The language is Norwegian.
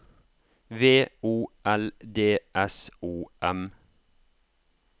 V O L D S O M